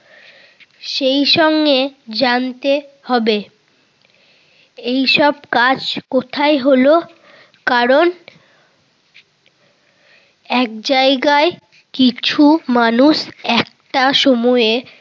সেই সঙ্গে জানতে হবে এইসব কাজ কোথায় হলো কারণ এক জায়গায় কিছু মানুষ একটা সময়ে